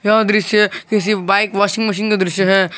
यह दृश्य किसी बाइक वॉशिंग मशीन का दृश्य है।